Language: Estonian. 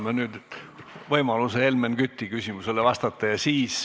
Anname nüüd võimaluse Helmen Küti küsimusele vastata.